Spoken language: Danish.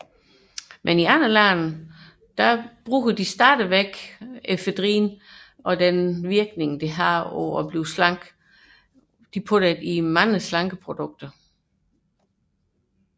I andre lande udnyttes efedrins slankende virkning dog stadig i talrige slankeprodukter